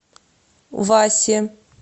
васе